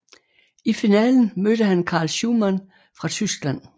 I finalen mødte han Carl Schuhmann fra Tyskland